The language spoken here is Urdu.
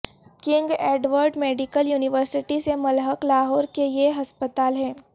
کنگ ایڈورڈ میڈیکل یونیورسٹی سے ملحق لاہور کے یہ ہسپتال ہیں